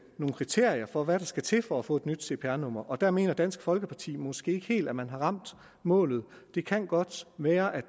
nogle kriterier for hvad der skal til for at få et nyt cpr nummer der mener dansk folkeparti måske ikke helt at man har ramt målet det kan godt være at